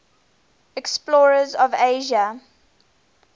explorers of asia